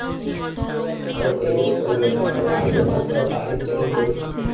હોઉં ભાઈ એવું જ કરવું પડશે આપડે લાવવી તો પડશે હવે ગાડી ની જરૂર બઉ છે